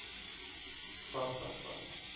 takastad